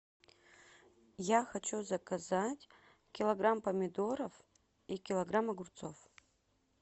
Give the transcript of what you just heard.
я хочу заказать килограмм помидоров и килограмм огурцов